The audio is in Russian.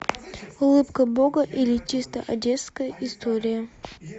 улыбка бога или чисто одесская история